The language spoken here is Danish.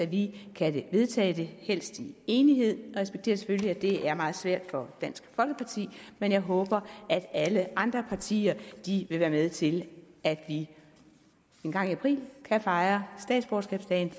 vi kan vedtage det helst i enighed jeg respekterer selvfølgelig at det er meget svært for dansk folkeparti men jeg håber at alle andre partier vil være med til at vi engang i april kan fejre statsborgerskabsdagen